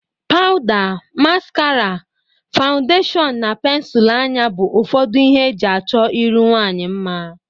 Pawda, maskara, fawundeshọn na pensul anya bụ ufọdụ ihe e ji achọ iru nwaanyị mma.